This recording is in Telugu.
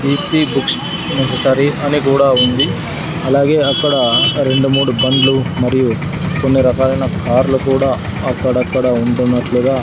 పీ టీ బుక్స్ నెస్ససరీ అని కూడా ఉంది అలాగే అక్కడ రెండు మూడు బండ్లు మరియు కొన్ని రకాలైన కార్లు కూడా అక్కడక్కడ ఉంటున్నట్లుగా--